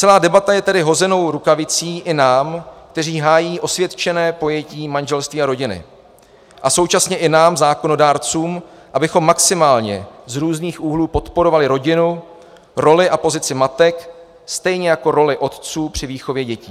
Celá debata je tedy hozenou rukavicí i nám, kteří hájí osvědčené pojetí manželství a rodiny, a současně i nám zákonodárcům, abychom maximálně z různých úhlů podporovali rodinu, roli a pozici matek, stejně jako roli otců při výchově dětí.